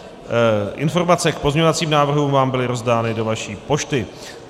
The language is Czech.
Informace k pozměňovacím návrhům vám byly rozdány do vaší pošty.